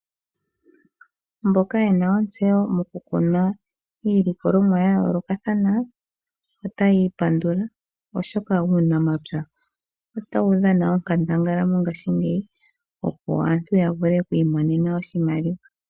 Mboka yena otseyo moku kuna iilikolomwa yayoolokathana, otayi i pandula oshoka uunamapya ota wu dhana onkandangala mongaashingeyi opo aantu ya vule okwiimonena oshimaliwa.